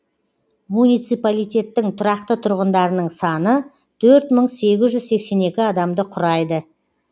муниципалитеттің тұрақты тұрғындарының саны төрт мың сегіз жүз сексен екі адамды құрайды